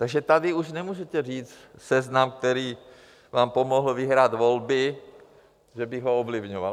Takže tady už nemůžete říct, Seznam, který vám pomohl vyhrát volby, že bych ho ovlivňoval.